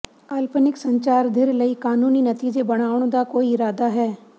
ਕਾਲਪਨਿਕ ਸੰਚਾਰ ਧਿਰ ਲਈ ਕਾਨੂੰਨੀ ਨਤੀਜੇ ਬਣਾਉਣ ਦਾ ਕੋਈ ਇਰਾਦਾ ਹੈ